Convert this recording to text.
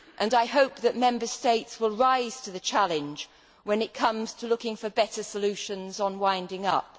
I hope that Member States will rise to the challenge when it comes to looking for better solutions on winding up.